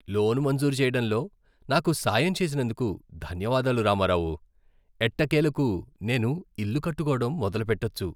Loan మంజూరు చేయడంలో నాకు సాయం చేసినందుకు ధన్యవాదాలు రామారావు. ఎట్టకేలకు నేను ఇల్లు కట్టుకోవడం మొదలుపెట్టొచ్చు.